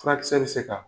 Furakisɛ bɛ se ka